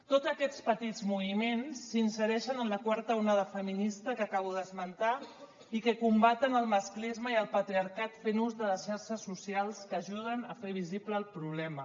tots aquests petits moviments s’insereixen en la quarta onada feminista que acabo d’esmentar i que combaten el masclisme i el patriarcat fent ús de les xarxes socials que ajuden a fer visible el problema